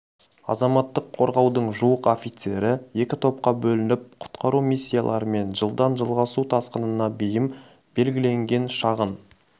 азаматтық қорғаудың жуық офицері екі топқа бөлініп құтқару миссияларымен жылдан жылға су тасқынына бейім белгіленген шағын